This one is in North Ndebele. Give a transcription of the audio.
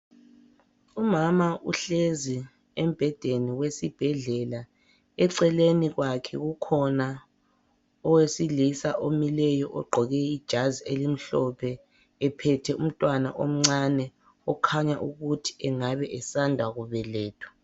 Umama uhlezi embhedeni wesibhedlela eceleni kwakhe kukhona owesilisa omileyo ogqoke ijazi elimhlophe ephethe umntwana omncane okhanya ukuthi engabe esanda kubelethwa.